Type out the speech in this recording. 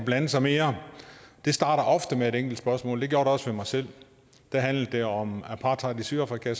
at blande sig mere det starter ofte med et enkelt spørgsmål det gjorde det også for mig selv da handlede det om apartheid i sydafrika